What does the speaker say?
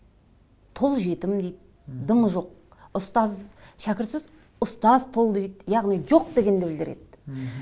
тұл жетім дейді дымы жоқ ұстаз шәкіртсіз ұстаз тұл дейді яғни жоқ дегенді білдіреді мхм